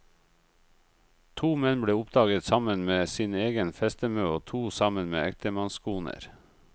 To menn ble oppdaget sammen med sin egen festemø og to sammen med ektemannskoner.